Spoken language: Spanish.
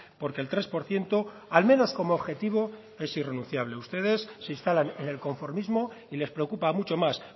porque el tres por ciento al menos como objetivo es irrenunciable ustedes se instalan en el conformismo y les preocupa mucho más